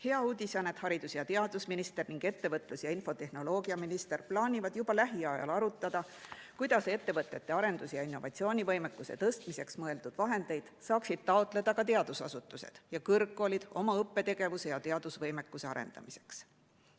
Hea uudis on, et haridus‑ ja teadusminister ning ettevõtlus‑ ja infotehnoloogiaminister plaanivad juba lähiajal arutada, kuidas ettevõtete arendus‑ ja innovatsioonivõimekuse tõstmiseks mõeldud vahendeid saaksid taotleda ka teadusasutused ja kõrgkoolid oma õppetegevuse ja teadusvõimekuse arendamiseks.